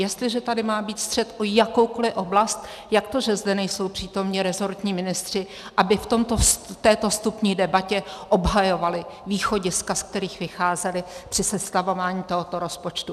Jestliže tady má být střet o jakoukoli oblast, jak to, že zde nejsou přítomni resortní ministři, aby v této vstupní debatě obhajovali východiska, z kterých vycházeli při sestavování tohoto rozpočtu?